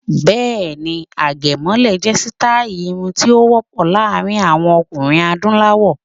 Bẹ́ẹ̀ ni, àgẹ̀mọ́lẹ̀ jẹ́ sítáì irun tí ó wọ́ pọ̀ láàrin àwọn ọkùnrin Adúláwọ̀.